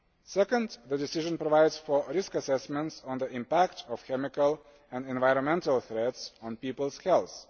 Second, the decision provides for risk assessments on the impact of chemical and environmental threats on people's health.